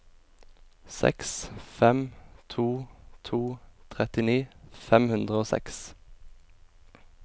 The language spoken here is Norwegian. seks fem to to trettini fem hundre og seks